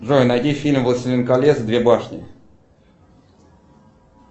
джой найди фильм властелин колец две башни